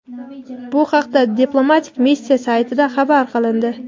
Bu haqda diplomatik missiya saytida xabar qilindi.